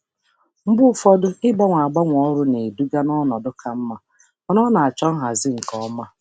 Mgbe ụfọdụ ịgbanwe ịgbanwe ọrụ na-eduga n'ọnọdụ ka mma, mana ọ na-achọ nhazi nke ọma.